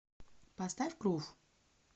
поставь крув